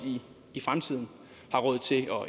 i fremtiden har råd til at